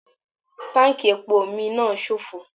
Táǹkì epo mi náà sófo.